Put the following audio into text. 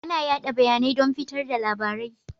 Ana yada bayanai don fitar da labarai.